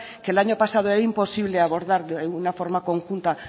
que el año pasado era imposible abordar de una forma conjunta